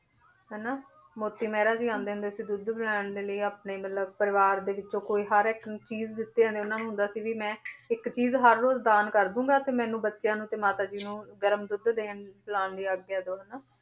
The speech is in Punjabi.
ਹਨਾ ਮੋਤੀ ਮਹਿਰਾ ਜੀ ਆਉਂਦੇ ਹੁੰਦੇ ਸੀ ਦੁੱਧ ਪਿਲਾਉਣ ਦੇ ਲਈ ਆਪਣੇ ਮਤਲਬ ਪਰਿਵਾਰ ਦੇ ਵਿੱਚੋਂ ਕੋਈ ਹਰ ਇੱਕ ਚੀਜ਼ ਦਿੱਤੇ ਉਹਨਾਂ ਨੂੰ ਹੁੰਦਾ ਸੀ ਵੀ ਮੈਂ ਇੱਕ ਚੀਜ਼ ਹਰ ਰੋਜ਼ ਦਾਨ ਕਰ ਦੇਵਾਂਗਾ ਤੇ ਮੈਨੂੰ ਬੱਚਿਆਂ ਨੂੰ ਤੇ ਮਾਤਾ ਜੀ ਨੂੰ ਗਰਮ ਦੁੱਧ ਦੇਣ ਪਿਲਾਉਣ ਲਈ ਆਗਿਆ ਦਓ ਹਨਾ,